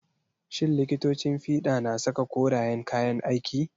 Shin likitocin fiɗa na saka korayen kayan aiki?